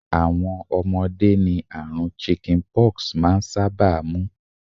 Àwọn ọmọdé ni àrùn 'chicken pox' maa n sábà mú.